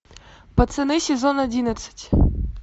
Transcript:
пацаны сезон одиннадцать